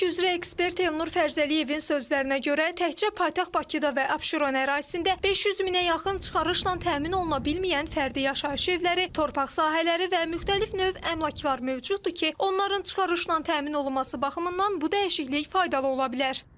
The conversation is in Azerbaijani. Əmlak üzrə ekspert Elnur Fərzəliyevin sözlərinə görə, təkcə paytaxt Bakıda və Abşeron ərazisində 500 minə yaxın çıxarışla təmin oluna bilməyən fərdi yaşayış evləri, torpaq sahələri və müxtəlif növ əmlaklar mövcuddur ki, onların çıxarışla təmin olunması baxımından bu dəyişiklik faydalı ola bilər.